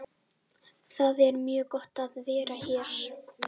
Það er mjög gott að vera hér.